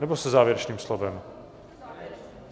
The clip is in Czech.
Nebo se závěrečným slovem?